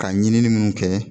Ka ɲinini minnu kɛ